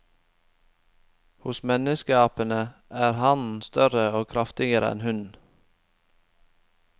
Hos menneskeapene er hannen større og kraftigere enn hunnen.